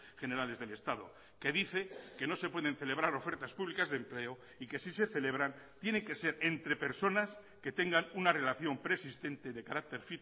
generales del estado que dice que no se pueden celebrar ofertas públicas de empleo y que si se celebran tiene que ser entre personas que tengan una relación preexistente de carácter